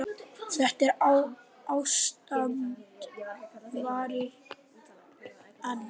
Þetta ástand varir enn.